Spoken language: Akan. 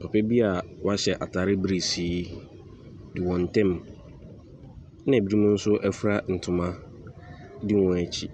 Papa bi a wahyɛ atare birisi di wɔn ntam, ɛna binom nso afira ntama di wɔn akyi.